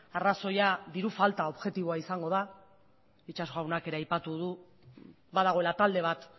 arrazoia diru falta objektiboa izango da itxaso jaunak ere aipatu du badagoela talde bat